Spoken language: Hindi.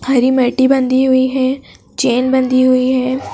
हरी मैटी बंधी हुई हैं चैन बंधी हुई हैं।